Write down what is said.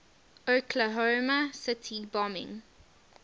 oklahoma city bombing